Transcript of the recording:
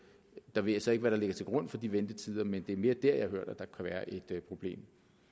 jeg ved så ikke hvad der ligger til grund for de ventetider men det er mere dér jeg har hørt at der kan være et problem